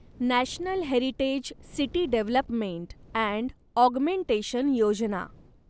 national heritage city development and augmentation Yojana